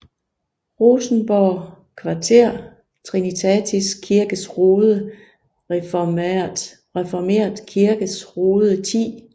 Rosenborg Kvarter Trinitatis Kirkes Rode Reformert Kirkes Rode 10